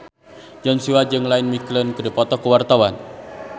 Joshua jeung Ian McKellen keur dipoto ku wartawan